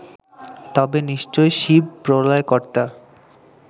তবে নিশ্চয়ই শিব প্রলয়কর্তা